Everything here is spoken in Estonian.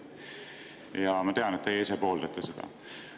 Ja ma tean, et teie ise pooldate seda.